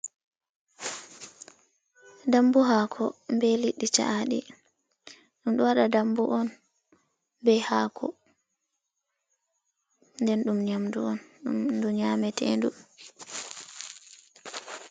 Dambu hako be liddi cha’aɗi, ɗum ɗo waɗa dambu on be hako, nden ɗum nyamɗu on du nyametendu.